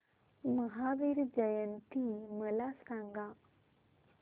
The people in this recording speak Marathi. महावीर जयंती मला सांगा